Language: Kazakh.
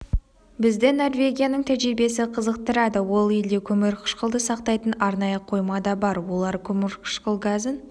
бізді норвегияның тәжірибесі қызықтырады ол елде көмір қышқылды сақтайтын арнайы қойма да бар олар көмірқышқыл газын